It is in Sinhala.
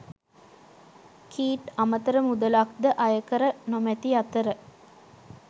කීට් අමතර මුලක්ද අයකර නොමැති අතර